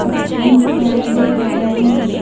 और ट्रेन दिखाई दे रहे हैं।